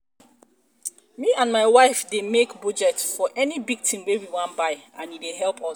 me and my wife dey make budget for any big thing we wan buy and e dey help us.